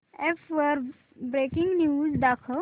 app वर breaking news दाखव